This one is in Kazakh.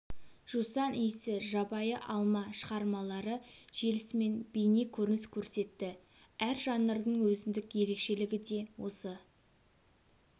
жусан иісі жабайы алма шығармалары желісімен бейне көрініс көрсетті әр жанрдың өзіндік ерекшелігі де осы